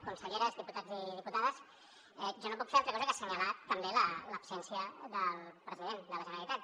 conselleres diputats i diputades jo no puc fer altra cosa que assenyalar també l’absència del president de la generalitat